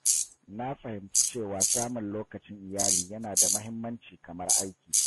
Na fahimci cewa samun lokacin iyali yana da muhimmanci kamar aiki.